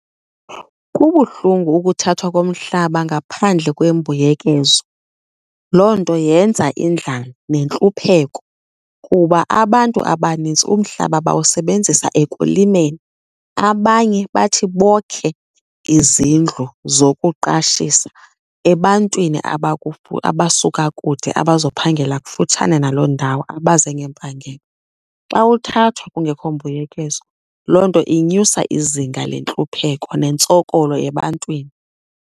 Kubuhlungu ukuthathwa komhlaba ngaphandle kwembuyekezo. Loo nto yenza indlala nentlupheko kuba abantu abanintsi umhlaba bawusebenzisa ekulimeni. Abanye bathi bokhe izindlu zokuqashisa ebantwini abasuka kude abazophangela kufutshane naloo ndawo, abaze ngempangelo. Xa uthathwa kungekho mbuyekezo, loo nto inyusa izinga lentlupheko nentsokolo ebantwini.